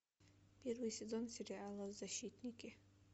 первый сезон сериала защитники